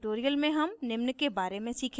इस tutorial में हम निम्न के बारे में सीखेंगे